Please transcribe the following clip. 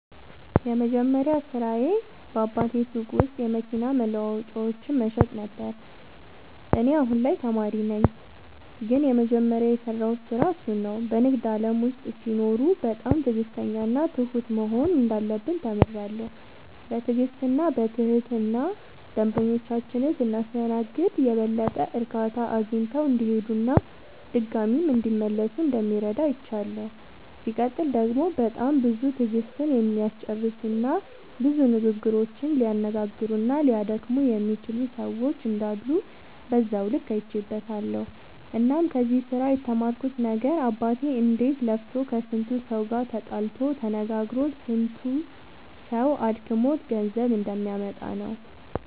የመጀመሪያ ስራዬ በአባቴ ሱቅ ውስጥ የመኪና መለዋወጫዎችን መሸጥ ነበረ። እኔ አሁን ላይ ተማሪ ነኝ ግን የመጀመሪያ የሰራሁት ስራ እሱን ነው። በንግድ ዓለም ውስጥ ሲኖሩ በጣም ትዕግሥተኛና ትሁት መሆን እንዳለብን ተምሬያለሁ። በትዕግሥትና በትህትና ደንበኞቻችንን ስናስተናግድ የበለጠ እርካታ አግኝተው እንዲሄዱና ድጋሚም እንዲመለሱ እንደሚረዳ አይቻለሁ። ሲቀጥል ደግሞ በጣም ብዙ ትዕግሥትን የሚያስጨርሱና ብዙ ንግግሮችን ሊያነጋግሩና ሊያደክሙ የሚችሉ ሰዎች እንዳሉ በዛው ልክ አይቼበትበታለሁ። እናም ከዚህ ስራ የተማርኩት ነገር አባቴ እንዴት ለፍቶ ከስንቱ ሰው ጋር ተጣልቶ ተነጋግሮ ስንቱ ሰው አድክሞት ገንዘብ እንደሚያመጣ ነው።